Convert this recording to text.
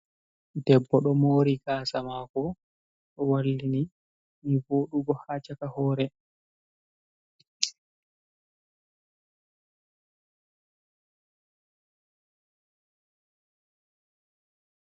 Debbo do mari kasa mako wallini ni vodugo ha caka hore.